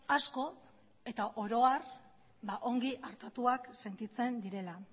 asko eta oro har ongi artatuak sentitzen direla